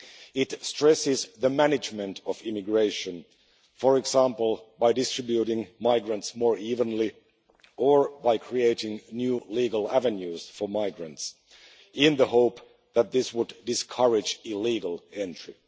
It stresses the management of immigration, for example by distributing migrants more evenly or by creating new legal avenues for migrants in the hope that this would discourage illegal entry.